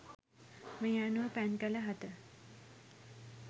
මේ අනුව පැන් කළ හත